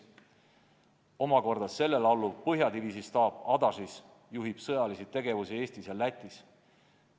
Omakorda sellele alluv põhjadiviisi staap Ādažis juhib sõjalist tegevust Eestis ja Lätis.